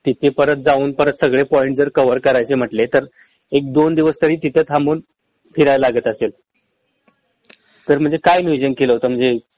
तिथे परत जाऊन परत सगळे पॉईंट जर कव्हर करायचे म्हटले एक दोन दिवस तरी तिथं थांबून फिरायलागतेसल तर म्हंजे काय नियोजन केलं होत म्हंजे